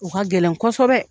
O ka gɛlɛn kosɛbɛ